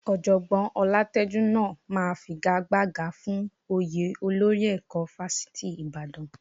Ọ̀jọ̀gbọ́n Ọlátẹ́jú náà máa figagbága fún oyè olórí ẹ̀kọ́ Fáṣítì Ìbàdàn